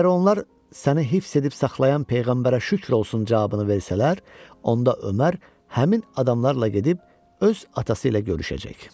Əgər onlar "Səni hifz edib saxlayan peyğəmbərə şükür olsun" cavabını versələr, onda Ömər həmin adamlarla gedib öz atası ilə görüşəcək.